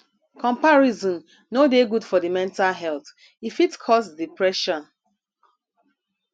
comparison no dey good for di mental health e fit cause depression